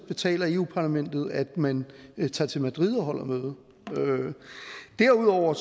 betaler eu parlament at man tager til madrid og holder møde derudover